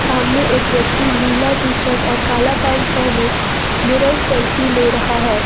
सामने एक व्यक्ति नीला टी शर्ट और काला पेंट पहने मिरर सेल्फी ले रहा है।